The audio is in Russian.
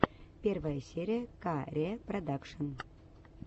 первая серия ка ре продакшен